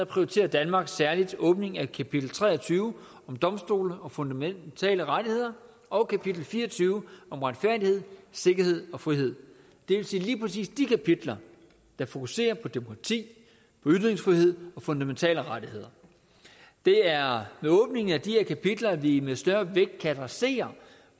prioriterer danmark særlig åbningen af kapitel tre og tyve om domstole og fundamentale rettigheder og kapitel fire og tyve om retfærdighed sikkerhed og frihed det vil sige lige præcis de kapitler der fokuserer på demokrati ytringsfrihed og fundamentale rettigheder det er med åbningen af de her kapitler at vi med større vægt kan adressere